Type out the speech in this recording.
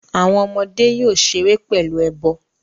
Awọn ọmọde yoo ṣere pẹlu ẹbọ